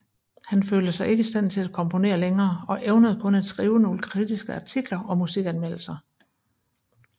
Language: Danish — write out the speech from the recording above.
Han følte sig ikke i stand til at komponere længere og evnede kun at skrive nogle kritiske artikler og musikanmeldelser